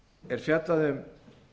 er fjallað um